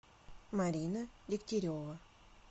марина дегтярева